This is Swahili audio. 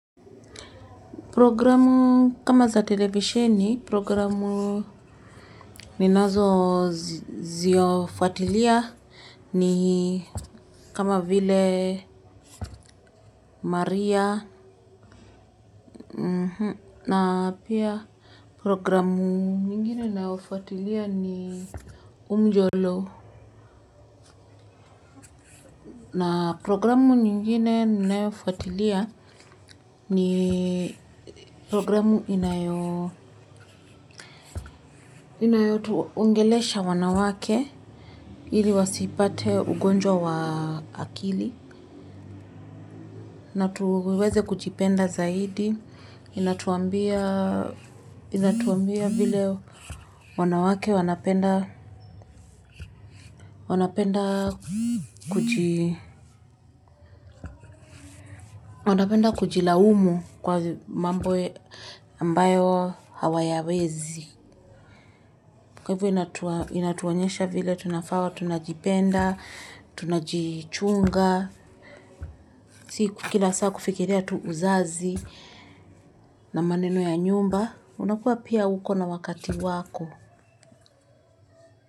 Programu kama za televisheni programu ninazoziofuatilia ni kama vile maria na pia programu nyingine naofuatilia ni umjolo na programu nyingine naofuatilia ni programu inayotuongelesha wanawake. Ili wasipate ugonjwa wa akili na tuweze kujipenda zaidi inatuambia vile wanawake wanapenda wanapenda kujilaumu kwa mambo ambayo hawayawezi kwa hivo inatuonyesha vile tunafaa tunajipenda tunajichunga si kila saa kufikiria tu uzazi na maneno ya nyumba unakuwa pia uko na wakati wako.